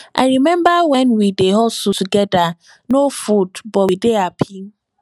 i rememba wen we dey hustle togeda no food but we dey hapi